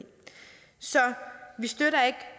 så vi støtter ikke